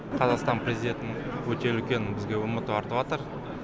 қазақстан президентін өте үлкен бізге үміт артыватыр